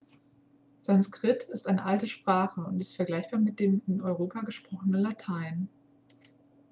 sanskrit ist eine alte sprache und ist vergleichbar mit dem in europa gesprochenen latein